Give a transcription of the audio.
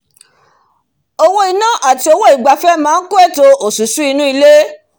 owó inà àti owó ìgbafẹ́ máá kún ètò ìnáwó osusù inú ilé